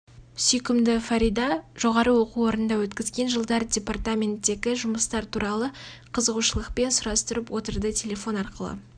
сүйкімді фарида жоғарғы оқу орнында өткізген жылдары департаменттегі жұмыстары туралы қызығушылықпен сұрастырып отырды телефон арқылы